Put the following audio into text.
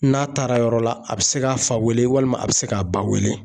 N'a taara yɔrɔ la a bɛ se k'a fa wele walima a bɛ se k'a ba wele